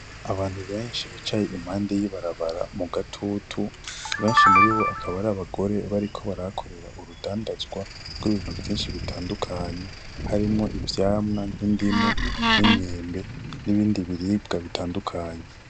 Abantu benshi bicaye impande y'ibarabara mu gatutu, benshi muribo akaba ari abagore bariko barahakorera urudandazwa rw'ibintu vyinshi bitandukanye, harimwo ivyamwa nk'indimu n'imyembe n'ibindi vyamwa bitandukanye.